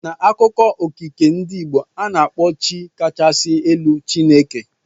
N'akụkọ okike ndị Igbo, a na-akpọ Chi kachasị elu Chineke.